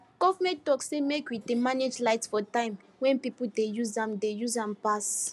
government talk say make we dey manage light for time wey people dey use am dey use am pass